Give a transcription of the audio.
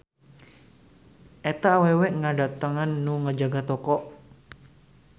Eta awewe ngadatangan nu ngajaga toko